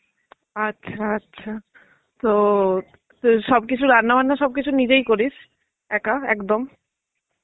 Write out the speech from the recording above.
আচ্ছা. আচ্ছা. তো তোর সবকিছু রান্না বান্না সবকিছু নিজেই করিস. একা একদম.